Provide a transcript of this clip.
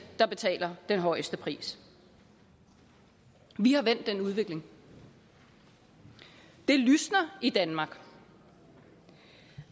der betaler den højeste pris vi har vendt den udvikling det lysner i danmark